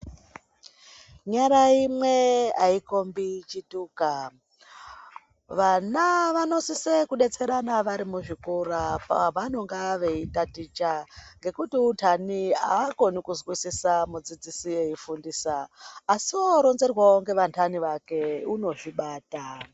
Nyara imwe aikombi chituka vana vanosise kudetserana vari muzvikora pavanonga veitaticha ngekuti untani aakoni kuzwisisa mudzidzisi eifundisa asi oronzerwawo ngeantani vake unozvibata.